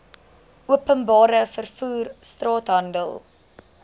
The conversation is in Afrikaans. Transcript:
openbare vervoer straathandel